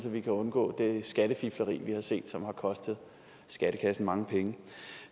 at vi kan undgå det skattefifleri vi har set som har kostet skattekassen mange penge